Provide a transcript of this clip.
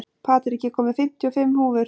Patrik, ég kom með fimmtíu og fimm húfur!